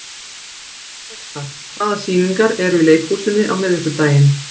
Peta, hvaða sýningar eru í leikhúsinu á miðvikudaginn?